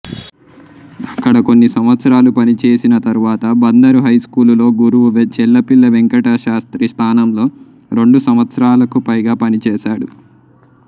అక్కడ కొన్ని సంవత్సరాలు పనిచేసిన తరువాత బందరు హైస్కూలులో గురువు చెళ్లపిళ్ల వెంకటశాస్త్రి స్థానంలో రెండు సంవత్సరాలకు పైగా పనిచేశాడు